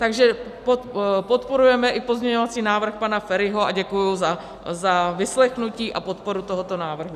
Takže podporujeme i pozměňovací návrh pana Feriho a děkuji za vyslechnutí a podporu tohoto návrhu.